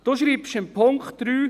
Sie schreiben unter dem Punkt 3: